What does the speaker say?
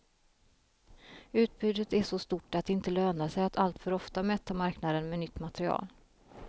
Utbudet är så stort att det inte lönar sig att alltför ofta mätta marknaden med nytt material.